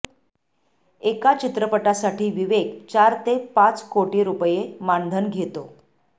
एका चित्रपटासाठी विवेक चार ते पाच कोटी रुपये मानधन घेतो